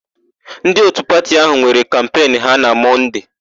Ndị òtù pati áhụ̀ nwere kampenụ ha na Mọnde.